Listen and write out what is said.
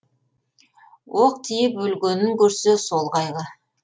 оқ тиіп өлгенін көрсе сол қайғы